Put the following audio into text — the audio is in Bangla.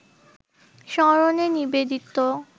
স্মরণে নিবেদিত